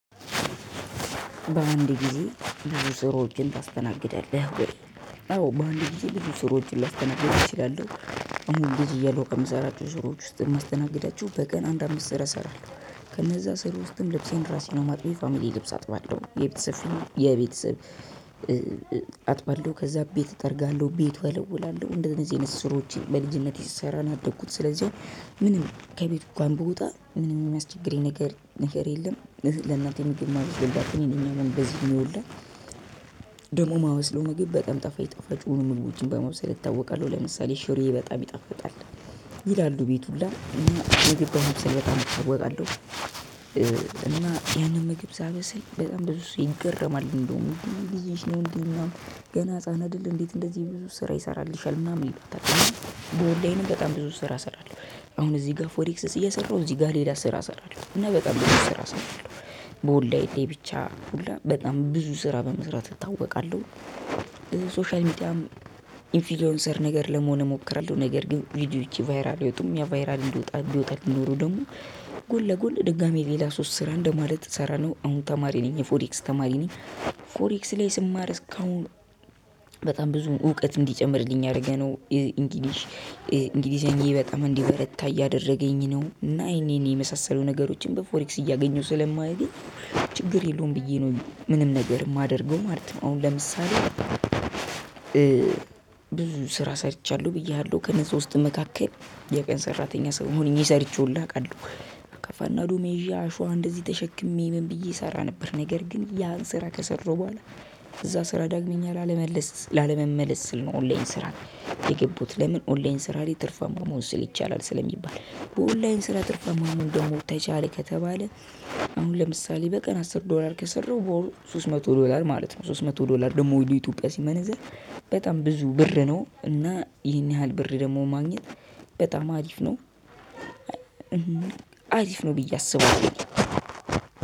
በአንድ ጊዜ ብዙ ስራዎችን ታስተናግዳለህ ወይ? አዎ በአንድ ጊዜ ብዙ ስራዎችን ላስተናግድ እችላለሁ። አሁን ልጅ እያለሁ ከምሰራቸው ስራዎች ውስጥ የማስተናግዳቸው፤ በቀን አንድ አመት ስራ እሰራለሁ። ከነዛ ስራ ውስጥም ልብሴን ራሴ ነው የማጥበው። የፋሚሊ ልብስ አጥባለሁ። የቤተሰብ የቤተሰብ አጥባለሁ። ከዛ ቤት እጠርጋለሁ፤ ቤት እወለውላለሁ። እንደነዚህ አይነት ስራዎችን በልጅነቴ ስሰራ ነው ያደግኩት። ስለዚህ ምንም ከቤት እንኳን ብወጣ ምንም የሚያስቸግረኝ ነገር የለም። ለእናቴ ምግብ የማበስልላት እኔ ነኝ አሁንም በዚህ እድሜ ሁላ። ደግሞ የማበስለው ምግብ በጣም ጣፋጭ ጣፋጭ የሆኑ ምግቦችን በማብሰል እታወቃለሁ። ለምሳሌ ሽሮዬ በጣም ይጣፍጣል። ይላሉ ቤት ሁላ እና ምግብ በማብሰል በጣም እታወቃለሁ። እና ያንን ምግብ ሳበስል በጣም ብዙ ሰው ይገረማል እንደውም። ብዙ ጊዜሽ ነው እንዴ ምንድነው? ገና ህፃን አደል እንዴት እንደዚህ ብዙ ስራ ይሰራልሻል? ምናምን ይሏታል። በኦንላይንም በጣም ብዙ ስራ እሰራለሁ። አሁን እዚህ ጋር ፎሬክስስ እየሰራሁ እዚህ ጋር ሌላ ስራ እሰራለሁ። እና በጣም ብዙ ስራ እሰራለሁ። በኦንላይን ላይ ብቻ ሁላ በጣም ብዙ ስራ በመስራት እታወቃለሁ። ሶሻል ሚዲያም ኢንፍሉዌንሰር ነገር ለመሆን እሞክራለሁ። ነገር ግን ቪዲዮዎቼ ቫይራል አይወጡም። ያው ቫይራል ቢወጣልኝ ኖሮ ደግሞ ጎን ለጎን ድጋሚ ሌላ ሶስት ስራ እንደማለት ልሰራ ነው። አሁን ተማሪ ነኝ። የፎሬክስ ተማሪ ነኝ። ፎሬክስ ላይ ስማር እስካሁን በጣም ብዙ እውቀት እንዲጨምርልኝ እያደረገ ነው። ኢንጊሊሽ፤ እንግሊዘኛዬ በጣም እንዲበረታ እያደረገኝ ነው። እና ይሄን ይሄን የመሳሰሉ ነገሮችን በፎሬክስ እያገኘሁ ስለማገኝ ችግር የለውም ብዬ ነው ምንም ነገር የማደርገው ማለት ነው። አሁን ለምሳሌ ብዙ ስራ ሰርቻለሁ ብዬሃለሁ። ከነዛ ውስጥም መካከል የቀን ሰራተኛ ሆኜ ሰርቼ ሁላ አቃለሁ። አካፋ እና ዶማ ይዤ፤ አሸዋ እንደዚህ ተሸክሜ ምን ብዬ እሰራ ነበር። ነገር ግን ያን ስራ ከሰራሁ በኋላ እዛ ስራ ዳግመኛ ላለመመለስ ስል ነው ኦንላይን ስራ የገባሁት። ለምን? ኦንላይን ስራ ላይ ትርፋማ መሆን ይቻላል ስለሚባል። በኦንላይን ስራ ትርፋማ መሆን ደግሞ ተቻለ ከተባለ አሁን ለምሳሌ በቀን አስር ዶላር ከሰራሁ በወር ሶስት መቶ ዶላር ማለት ነው። ሶስት መቶ ዶላር ደግሞ ወደ ኢትዮጵያ ሲመነዘር በጣም ብዙ ብር ነው። እና ይሄን ያህል ብር ደግሞ ማግኘት በጣም አሪፍ ነው። አሪፍ ነው ብዬ አስባለሁ።